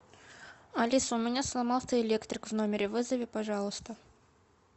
алиса у меня сломался электрик в номере вызови пожалуйста